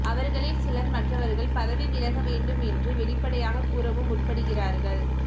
அவர்களில் சிலர் மற்றவர்கள் பதவி விலக வேண்டும் என்று வெளிப்படையாகக் கூறவும் முற்படுகிறார்கள்